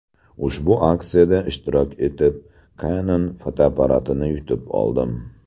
Ushbu aksiyada ishtirok etib, Canon fotoapparatini yutib oldim.